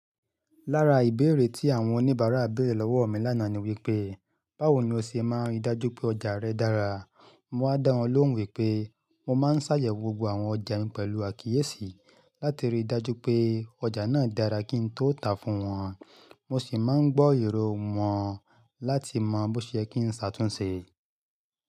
Lára ìbéèrè tí àwọn oníbàárà béèrè lọ́wọ́ mi lánàá ni wípé, báwo ni o ṣe máa ń rí dájú pé ọjà rẹ dára? Mo wa dá wọn lóhùn wípé mo máa ń ṣàyẹ̀wò gbogbo àwọn ọjà mi pẹ̀lú àkíyèsí láti rí dájú pé ọjà náà dára kí n tó tàá fún wọn. Mo sì máa ń gbọ́ èrò wọn láti mọ bó ṣe kí n ṣàtúnṣe.